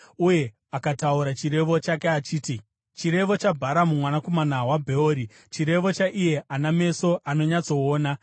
uye akataura chirevo chake achiti: “Chirevo chaBharamu mwanakomana waBheori, chirevo chaiye ana meso anonyatsoona,